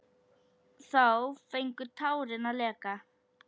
Þá fengu tárin að leka.